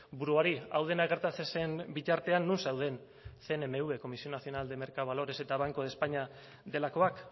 buruari hau dena gertatzen zen bitartean non zeuden cnmv comisión nacional de mercado de valores eta banco de españa delakoak